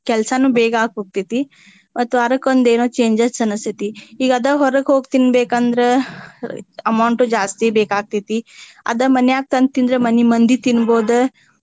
ಕೆಲ್ಸನೂ ಬೇಗಾ ಆಗಿ ಹೋಗ್ತೇತಿ. ಮತ್ತ ವಾರಕ್ಕೊಂದ ಏನೊ changes ಅನಸ್ತೆತಿ. ಈಗ ಅದ ಹೊರಗ ಹೋಗಿ ತಿನ್ಬೇಕಂದ್ರೆ amount ಜಾಸ್ತಿ ಬೇಕಾಗ್ತೇತಿ. ಅದ ಮನ್ಯಾಗ ತಂದ ತಿಂದ್ರೆ ಮನಿ ಮಂದಿ ತಿನ್ಬಹುದು.